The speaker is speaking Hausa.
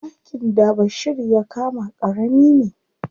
Ɗakin da Bashir ya kama ƙarami ne.